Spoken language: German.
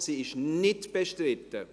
sie ist nicht bestritten.